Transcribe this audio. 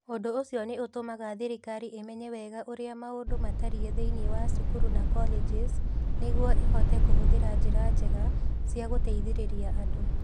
Ũndũ ũcio nĩ ũtũmaga thirikari ĩmenye wega ũrĩa maũndũ matariĩ thĩinĩ wa cukuru na colleges nĩguo ĩhote kũhũthĩra njĩra njega cia gũteithĩrĩria andũ.